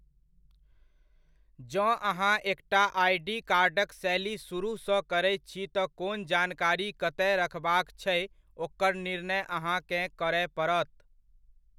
जँ अहाँ एकटा आई.डी. कार्डक शैली सुरूहसँ करैत छी तऽ कोन जानकारी कतय रखबाक छै ओकर निर्णय अहाँकेँ करय पड़त?